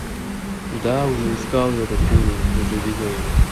да уже искал я этот фильм уже видел его